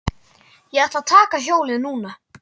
Ég ætla að taka hjólið núna.